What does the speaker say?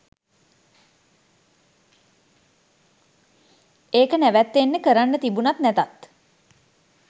ඒක නැවතෙන්නෙ කරන්න තිබුණත් නැතත්